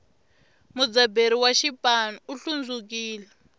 mudzaberi wa xipanu u hlundzukile